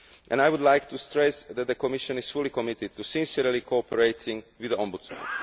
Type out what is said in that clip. I would like to stress that the Commission is fully committed to sincerely cooperating with the Ombudsman.